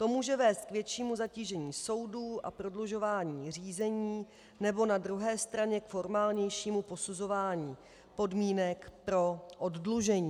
To může vést k většímu zatížení soudů a prodlužování řízení nebo na druhé straně k formálnějšímu posuzování podmínek pro oddlužení.